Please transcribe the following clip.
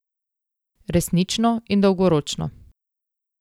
Resnično in dolgoročno.